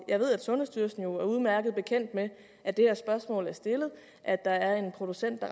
jeg ved at sundhedsstyrelsen er udmærket bekendt med at det her spørgsmål er stillet og at der er en producent